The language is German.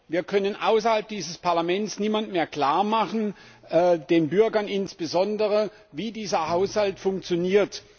Wir können außerhalb dieses Parlaments niemandem mehr klarmachen, den Bürgern insbesondere, wie dieser Haushalt funktioniert.